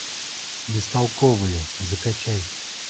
бестолковые закачай